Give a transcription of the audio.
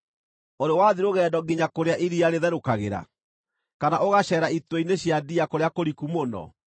“Ũrĩ wathiĩ rũgendo nginya kũrĩa iria rĩtherũkagĩra, kana ũgaceera itwe-inĩ cia ndia kũrĩa kũriku mũno?